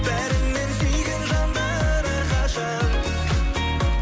бәрінен сүйген жандар әрқашан